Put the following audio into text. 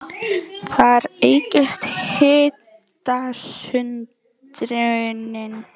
Þar eykst hitasundrunin.